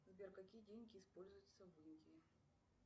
сбер какие деньги используются в индии